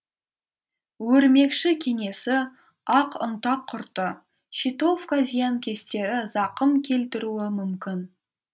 өрмекші кенесі ақ ұнтақ құрты щитовка зиянкестері зақым келтіруі мүмкін